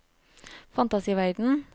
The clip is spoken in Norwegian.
fantasiverden